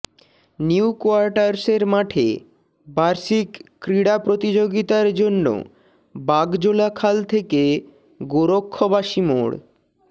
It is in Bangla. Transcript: নিউ কোয়ার্টার্সের মাঠে বার্ষিক ক্রীড়া প্রতিযোগিতার জন্য বাগজোলা খাল থেকে গোরক্ষবাসী মোড়